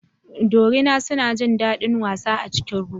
Dorina suna jin daɗin wasa a cikin ruwa.